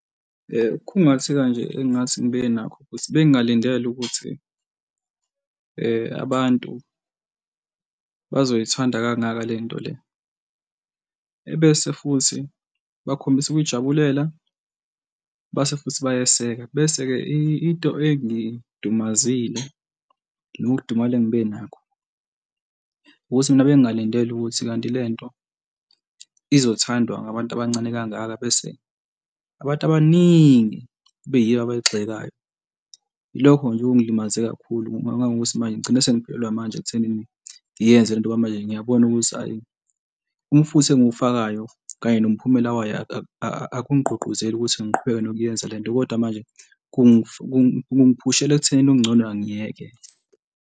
Ukukhungatheka nje, engathi ngibe nakho ukuthi bengingalindele ukuthi abantu bazoyithanda kangaka le nto le. Ebese futhi bakhombise ukuyijabulela base futhi bayeseka bese-ke into engidumazile nokudumala engibe nakho ukuthi mina bengingalindele ukuthi kanti le nto izothandwa ngabantu abancane kangaka, bese abantu abaningi kube yibo abayigxekayo. Yilokho nje okungilimaze kakhulu ngoba ngangokuthi manje ngigcine sengiphelelwe amandla ekuthenini ngiyenze le nto ngoba manje, ngiyabona ukuthi hhayi, umfutho engiwufakayo kanye nomphumela wayo akungigqugquzeli ukuthi ngiqhubeke nokuyenza le nto kodwa manje kungiphushela ekuthenini okungcono angiyeke.